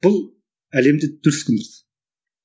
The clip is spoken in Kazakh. бұл әлемді дүр сілкіндірді